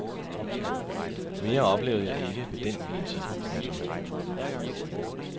Mere oplevede jeg ikke ved den vielse. punktum